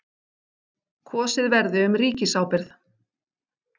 Kosið verði um ríkisábyrgð